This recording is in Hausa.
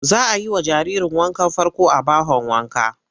Za a yi wa jaririrn wankan farko a bahon wanka.